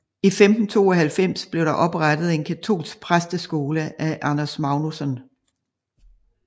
I 1592 blev der oprettet en katolsk præsteskole af Anders Magnusson